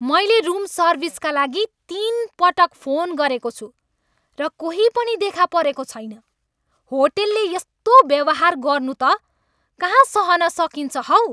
मैले रुम सर्भिसका लागि तिनपटक फोन गरेको छु, र कोही पनि देखा परेको छैन! होटलले यस्तो व्यवहार गर्नु त कहाँ सहन सकिन्छ हौ।